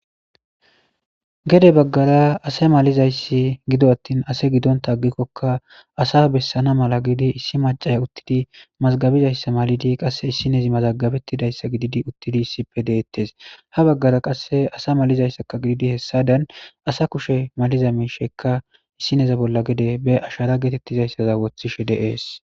gede baggara asa malizayssi gido attin ase gidontaagikkokka asa bessana mala gidi issi macay uttidi mazgabizayssa malidi qasse issinezi mazagabettidayssa gididi uttidi issippe deettes ha baggara qasse asa malizayssakka gididi hessadan asa kushe maliza miishekka issineza bolla gede be ashara geetettizayssaza woththishe de'ess